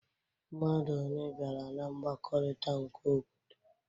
Mmadụ one bịara na mgbakọrịta nke obodo?